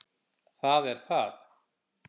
Það er það.